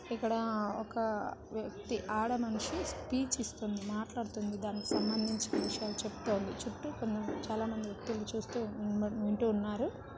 ఇక్కడ ఒక వ్యక్తి ఆడమనిషి స్పీచ్ ఇస్తుంది మాట్లాడుతుంది దానికి సంబందించిన విషయాలు చెప్తుంది చుట్టూ కొంత చాలా మంది వ్యక్తులు చూస్తూ వింటూ ఉన్నారు.